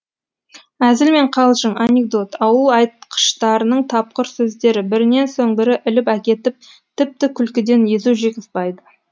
әзіл мен қалжың анекдот ауыл айтқыштарының тапқыр сөздері бірінен соң бірі іліп әкетіп тіпті күлкіден езу жиғызбайды